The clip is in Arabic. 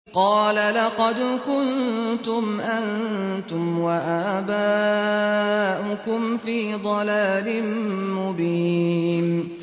قَالَ لَقَدْ كُنتُمْ أَنتُمْ وَآبَاؤُكُمْ فِي ضَلَالٍ مُّبِينٍ